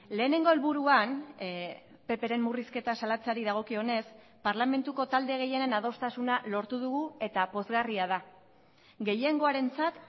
lehenengo helburuan ppren murrizketa salatzeari dagokionez parlamentuko talde gehienen adostasuna lortu dugu eta pozgarria da gehiengoarentzat